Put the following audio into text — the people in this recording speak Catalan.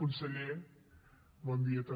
conseller bon dia també